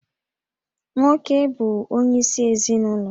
Nwoke bụ onyeisi ezinụlọ